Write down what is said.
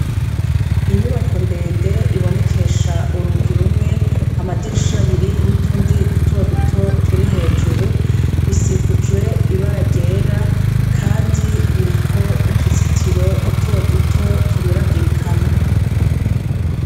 Inyubako ndende ibonekesha urugi rumwe amadirisha abiri n'utundi dutoduto turi hejuru bisikujwe ibara ryera Kandi biriko utuzitiro dutoduto tunyuragirikanwa.